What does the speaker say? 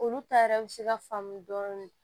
Olu ta yɛrɛ bɛ se ka faamu dɔɔni